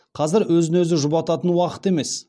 қазір өзін өзі жұбататын уақыт емес